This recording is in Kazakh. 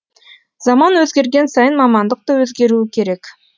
заман өзгерген сайын мамандық та өзгеруі керек